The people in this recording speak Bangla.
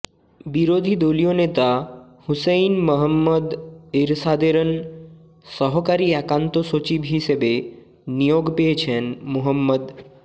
বিরোধী দলীয় নেতা হুসেইন মুহম্মদ এরশাদেরন সহকারী একান্ত সচিব হিসেবে নিয়োগ পেয়েছেন মো